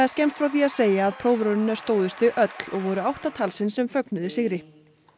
skemmst frá því að segja að prófraunina stóðust þau öll og voru átta talsins sem fögnuðu sigri